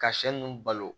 Ka sɛ ninnu balo